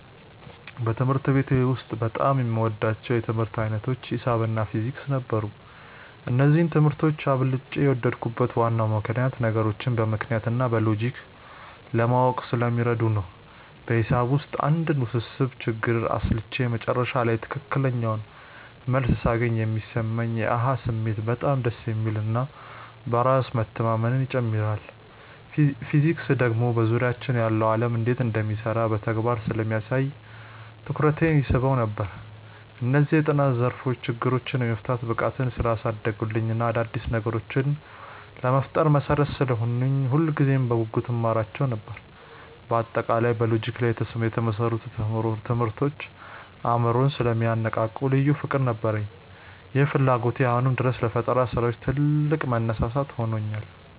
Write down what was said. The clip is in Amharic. በትምህርት ቤት ውስጥ በጣም የምወዳቸው የትምህርት ዓይነቶች ሒሳብ እና ፊዚክስ ነበሩ። እነዚህን ትምህርቶች አብልጬ የወደድኩበት ዋናው ምክንያት ነገሮችን በምክንያት እና በሎጂክ ለማወቅ ስለሚረዱ ነው። በሒሳብ ውስጥ አንድን ውስብስብ ችግር አስልቼ መጨረሻ ላይ ትክክለኛውን መልስ ሳገኝ የሚሰማኝ የ "አሃ" ስሜት በጣም ደስ የሚል እና በራስ መተማመንን ይጨምርልኛል። ፊዚክስ ደግሞ በዙሪያችን ያለው ዓለም እንዴት እንደሚሰራ በተግባር ስለሚያሳየኝ ትኩረቴን ይስበው ነበር። እነዚህ የጥናት ዘርፎች ችግሮችን የመፍታት ብቃቴን ስላሳደጉልኝ እና አዳዲስ ነገሮችን ለመፍጠር መሠረት ስለሆኑኝ ሁልጊዜም በጉጉት እማራቸው ነበር። በአጠቃላይ በሎጂክ ላይ የተመሰረቱ ትምህርቶች አእምሮን ስለሚያነቃቁ ልዩ ፍቅር ነበረኝ። ይህ ፍላጎቴ አሁንም ድረስ ለፈጠራ ስራዎች ትልቅ መነሳሳት ሆኖኛል።